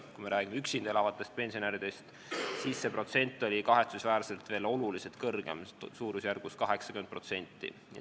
Kui me räägime üksinda elavatest pensionäridest, siis see protsent oli kahetsusväärselt veel oluliselt kõrgem, suurusjärgus 80%.